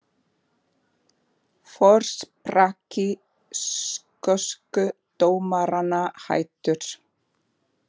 Forsprakki skosku dómaranna hættur